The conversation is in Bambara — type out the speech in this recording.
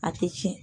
A tɛ tiɲɛ